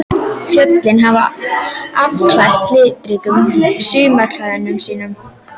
Fjöllin hafa afklæðst litríkum sumarklæðum sínum.